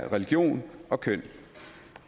religion og køn